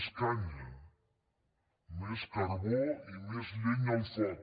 més canya més carbó i més llenya al foc